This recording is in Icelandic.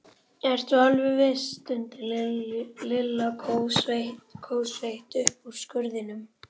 Ertu alveg viss? stundi Lilla kófsveitt upp úr skurðinum.